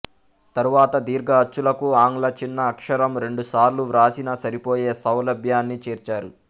తరువాత దీర్ఘ అచ్చులకు ఆంగ్ల చిన్న అక్షరము రెండుసార్లు వ్రాసిన సరిపోయే సౌలభ్యాన్ని చేర్చారు